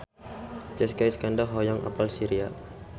Jessica Iskandar hoyong apal Syria